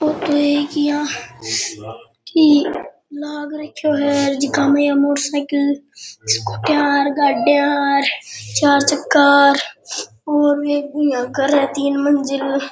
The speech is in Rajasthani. लग रखें है और झीका मे मोटरसाइकिल गाड़ियां चार चक्का और एक इया घर है तीन मंजिल।